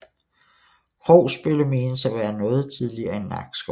Krogsbølle menes at være noget tidligere end Nakskov